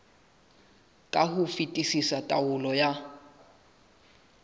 ka ho fetisisa taolong ya